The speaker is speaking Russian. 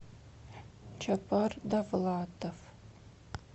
чапар давлатов